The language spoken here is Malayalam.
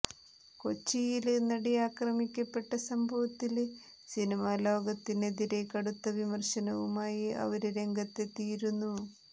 കൊച്ചിയില് നടി ആക്രമിക്കപ്പെട്ട സംഭവത്തില് സിനിമലോകത്തിനെതിരേ കടുത്ത വിമര്ശനവുമായി അവര് രംഗത്തെത്തിയിരുന്നു